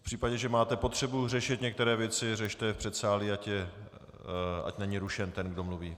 V případě, že máte potřebu řešit některé věci, řešte je v předsálí, ať není rušen ten, kdo mluví.